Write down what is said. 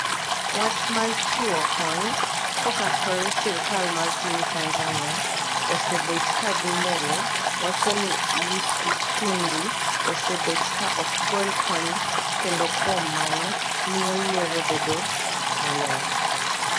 wach mar chiwo kony koka kore sirikal ma piny Tanzania osebet ka dhi mbele wacho ni Lissu Tundu osebet ka ok gol kony kendo kuom mano miyo yiero bedo molewo